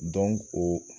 o